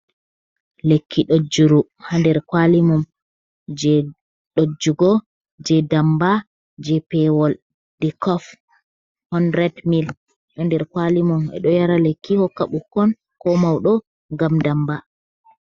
Lekki ɗojuru ha nder kwali mum, je ɗojugo, je damba, je pewol, nde kof 100 mil, ɗo nder kwali mum, ɓeɗo yara lekki, hokka ɓukkon ko mauɗo, ngam damba.